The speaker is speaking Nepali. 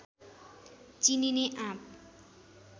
चिनिने आँप